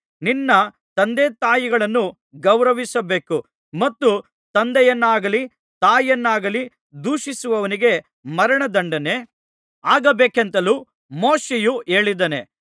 ನಿನ್ನ ತಂದೆತಾಯಿಗಳನ್ನು ಗೌರವಿಸಬೇಕು ಮತ್ತು ತಂದೆಯನ್ನಾಗಲಿ ತಾಯಿಯನ್ನಾಗಲಿ ದೂಷಿಸುವವನಿಗೆ ಮರಣದಂಡನೆ ಆಗಬೇಕೆಂತಲೂ ಮೋಶೆಯು ಹೇಳಿದ್ದಾನೆ